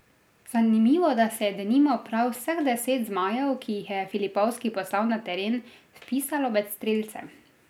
Zanimivo, da se je denimo prav vseh deset zmajev, ki jih je Filipovski poslal na teren, vpisalo med strelce.